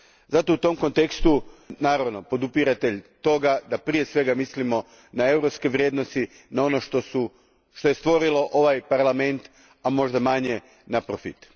Zato sam u tom kontekstu, naravno, podupiratelj toga da prije svega mislimo na europske vrijednosti, na ono što je stvorilo ovaj parlament, a možda manje na profit.